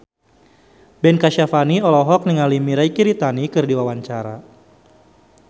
Ben Kasyafani olohok ningali Mirei Kiritani keur diwawancara